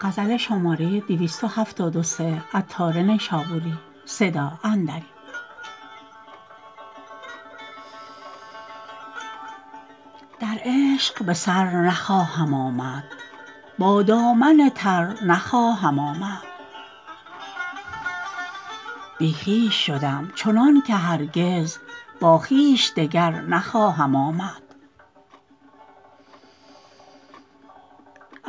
در عشق به سر نخواهم آمد با دامن تر نخواهم آمد بی خویش شدم چنان که هرگز با خویش دگر نخواهم آمد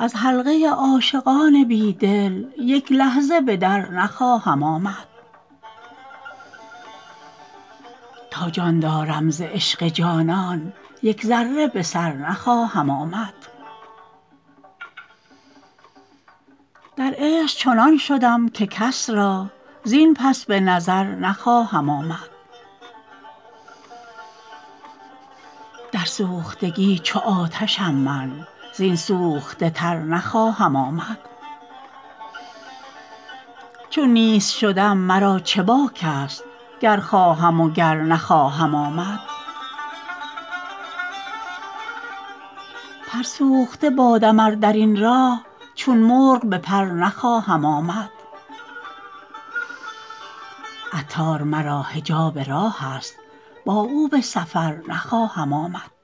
از حلقه عاشقان بی دل یک لحظه بدر نخواهم آمد تا جان دارم ز عشق جانان یک ذره به سر نخواهم آمد در عشق چنان شدم که کس را زین پس به نظر نخواهم آمد در سوختگی چو آتشم من زین سوخته تر نخواهم آمد چون نیست شدم مرا چه باک است گر خواهم وگر نخواهم آمد پر سوخته بادم ار درین راه چون مرغ به پر نخواهم آمد عطار مرا حجاب راه است با او به سفر نخواهم آمد